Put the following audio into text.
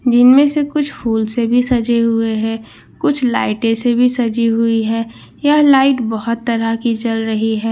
जिनमें से कुछ फूल से भी सजे हुए हैं कुछ लाइटें से भी सजी हुई है यह लाइट बहुत तरह की जल रही है --